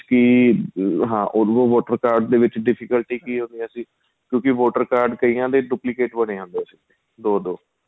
ਕੀ ਹਾਂ ਉਹਦੋ voter card ਦੇ ਵਿੱਚ difficult ਕੀ ਹੋ ਗਿਆ ਸੀ ਕਿਉਂਕਿ voter card ਕਈਆਂ ਦੇ duplicate ਬਣੇ ਜਾਂਦੇ ਸੀ ਦੋ ਦੋ